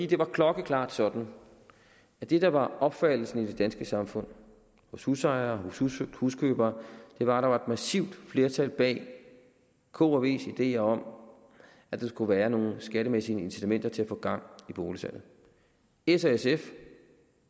det var klokkeklart sådan at det der var opfattelsen i det danske samfund hos husejere hos huskøbere var at der var massivt flertal bag k og vs ideer om at der skulle være nogle skattemæssige incitamenter til at få gang i boligsalget s og sf